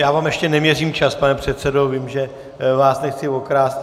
Já vám ještě neměřím čas, pane předsedo, vím, že vás nechci okrást.